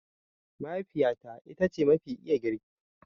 Mahaifiyata ita ce mafi iya girki.